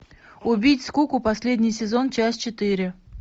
убить скуку последний сезон часть четыре